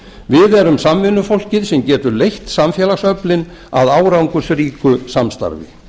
við erum samvinnufólkið sem getur leitt samfélagsöflin að árangursríku samstarfi